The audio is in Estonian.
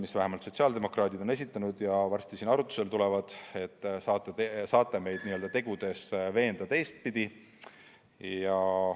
Ja vähemalt sotsiaaldemokraadid on need esitanud ja need tulevad varsti siin arutusele, nii et saate meid tegudega veenda.